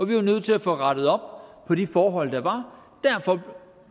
vi var nødt til at få rettet op på de forhold der var og derfor